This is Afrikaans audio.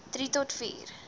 drie tot vier